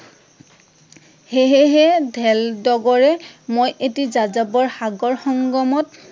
হে হে হে, ধেল ডগৰে, মই এটি যাযাবৰ, সাগৰ সংগমত